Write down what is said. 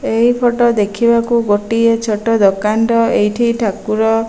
ଏହି ଫଟୋ ଦେଖିବାକୁ ଗୋଟିଏ ଛୋଟ ଦୋକାନ୍ ର ଏଇଠି ଠାକୁର --